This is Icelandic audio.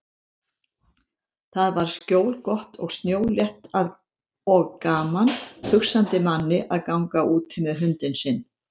Þar var skjólgott og snjólétt og gaman hugsandi manni að ganga úti með hundinn sinn.